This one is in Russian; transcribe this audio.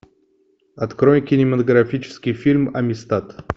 открой кинематографический фильм амистад